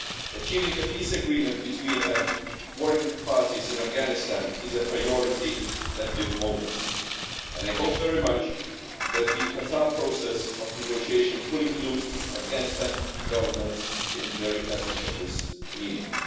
Achieving a peace agreement between warring parties in Afghanistan is a priority at the moment, and I hope very much that the Qatar process of negotiations will include the Afghanistan Government in the very essence of this meaning.